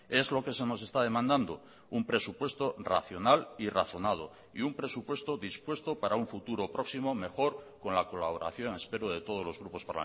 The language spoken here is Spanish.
es lo que se nos está demandando un presupuesto racional y razonado y un presupuesto dispuesto para un futuro próximo mejor con la colaboración espero de todos los grupos